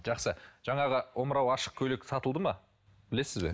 жақсы жаңағы омырауы ашық көйлек сатылды ма білесіз бе